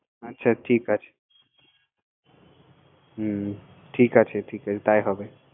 ও আচ্ছা ঠিক আছে হুম ঠিক আছে ঠিক আছে তাই হবে